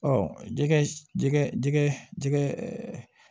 jɛgɛ jɛgɛ